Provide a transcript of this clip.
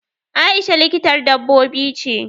Aisha likitar dabbobi ce.